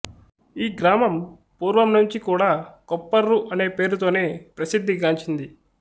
ఈ గ్రామం పూర్వం నుంచి కూడా కొప్పర్రు అనే పేరుతోనే ప్రసిద్ధిగాంచింది